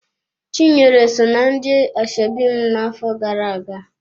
Chinyere so ná ndị ashebi m na-afọ gara-aga.